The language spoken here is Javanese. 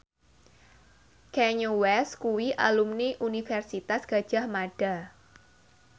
Kanye West kuwi alumni Universitas Gadjah Mada